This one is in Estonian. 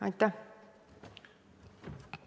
Aitäh!